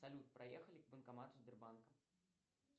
салют проехали к банкомату сбербанка